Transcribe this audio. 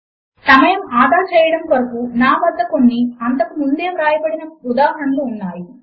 సమయము ఆదా చేయడము కొరకు నా వద్ద కొన్ని అంతకు ముందే వ్రాయబడిన కొన్ని ఉదాహరణలు ఉన్నాయి